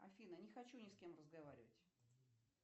афина не хочу ни с кем разговаривать